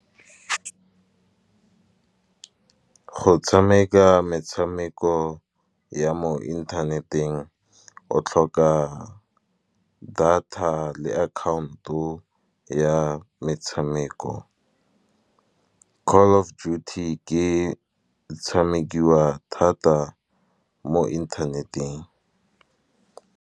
Go tshameka metshameko ya mo inthaneteng, o tlhoka data le account-o ya metshameko. Call of duty ke tshamekiwa thata mo internet-eng.